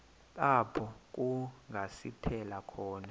apho kungasithela khona